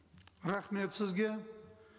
рахмет сізге